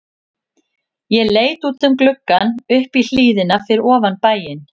Ég leit út um gluggann upp í hlíðina fyrir ofan bæinn.